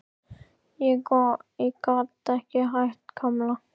Ég bara gat ekki hætt, Kamilla.